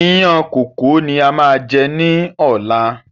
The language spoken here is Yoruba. Ìyàn kókò ni a má jẹ́ ní ọ̀la.